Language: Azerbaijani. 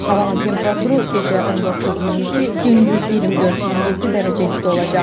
Havanın temperaturu gecə 19-22, gündüz 24-27 dərəcə isti olacaq.